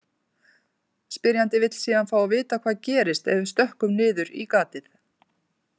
Spyrjandi vill síðan fá að vita hvað gerist ef við stökkvum niður í gatið.